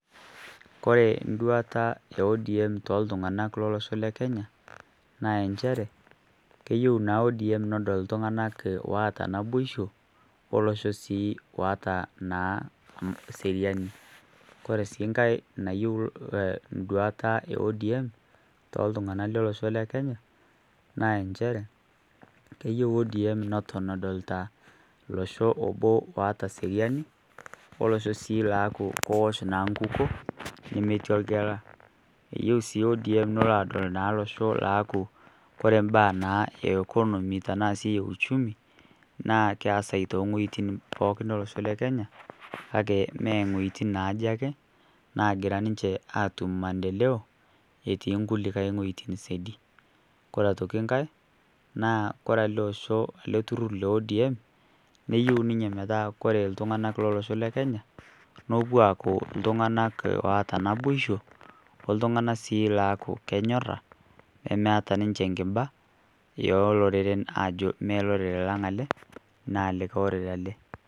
Kore nduata ODM toltunganak teleosho lekenya naa enchere keyeu naa ODM nedol ltunganak oata naboisho olosho sii otaa naa seriani kore si nkae nayeu nduata ODM toltunganak telosho lekenya naa enchere keyeu ODM nedol losho obo lata seriani olosho sii aku koosh naa nkuko nemetii lgela iyeu sii ODM nepuo naa adol losho laku kore mbaa naa ekonomi tanasi uchumi naa keasai ng'wejitin pookin elosho lekenya kake mengojiti naji ake nagira niche atum mandeleo itii nkulikae ng'ojitin sedi ,Kore atoki nkae kore ale osho ale turur le ODM niyeu ninye metaa kore ltunganak lelosho lekenya naa kopuo aaku ltunganak aata naboisho altungna sii aaku kenyora nemeata niche nkiba eloreren melorere lang ale na likae orere ale.